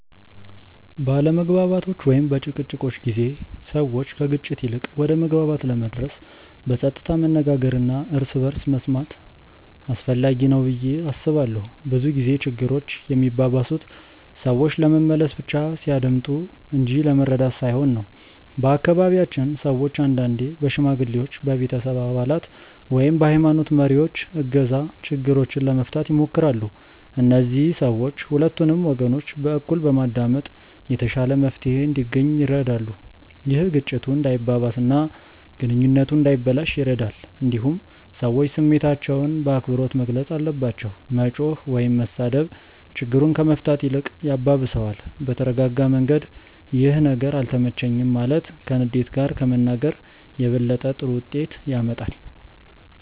በአለመግባባቶች ወይም በጭቅጭቆች ጊዜ ሰዎች ከግጭት ይልቅ ወደ መግባባት ለመድረስ በጸጥታ መነጋገር እና እርስ በርስ መስማት አስፈላጊ ነው ብዬ አስባለሁ። ብዙ ጊዜ ችግሮች የሚባባሱት ሰዎች ለመመለስ ብቻ ሲያዳምጡ እንጂ ለመረዳት ሳይሆን ነው። በአካባቢያችን ሰዎች አንዳንዴ በሽማግሌዎች፣ በቤተሰብ አባላት ወይም በሀይማኖት መሪዎች እገዛ ችግሮችን ለመፍታት ይሞክራሉ። እነዚህ ሰዎች ሁለቱንም ወገኖች በእኩል በማዳመጥ የተሻለ መፍትሄ እንዲገኝ ይረዳሉ። ይህ ግጭቱ እንዳይባባስ እና ግንኙነቱ እንዳይበላሽ ይረዳል። እንዲሁም ሰዎች ስሜታቸውን በአክብሮት መግለጽ አለባቸው። መጮህ ወይም መሳደብ ችግሩን ከመፍታት ይልቅ ያባብሰዋል። በተረጋጋ መንገድ “ይህ ነገር አልተመቸኝም” ማለት ከንዴት ጋር ከመናገር የበለጠ ጥሩ ውጤት ያመጣል።